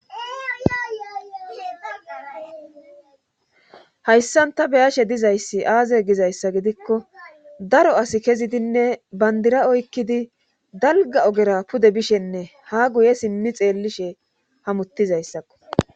hayssan ta beyashe dizayssi aaze gizayssa gidikko daro asi kezidinne bandira oykkidi dalga ogera pude bishenne ha guye simmi xeellishe hamuttizayssakko